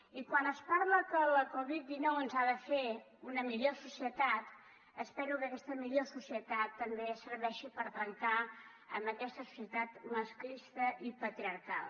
i quan es parla que la covid dinou ens ha de fer una millor societat espero que aquesta millor societat també serveixi per trencar amb aquesta societat masclista i patriarcal